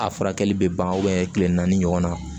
A furakɛli bɛ ban kile naani ɲɔgɔnna